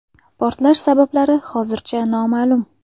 Portlash sabablari hozircha noma’lum.